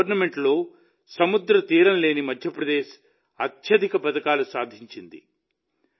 ఈ టోర్నమెంటులో సముద్ర తీరం లేని మధ్యప్రదేశ్ అత్యధిక పతకాలు సాధించింది